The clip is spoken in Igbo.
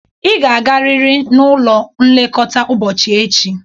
Ị ga-agarịrị n'ụlọ nlekọta ụbọchị echi!